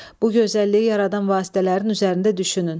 Bu gözəlliyi yaradan vasitələrin üzərində düşünün.